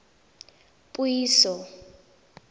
puiso